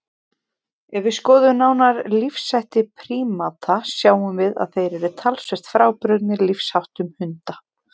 Ef við skoðum nánar lífshætti prímata sjáum við að þeir eru talsvert frábrugðnir lífsháttum hunda.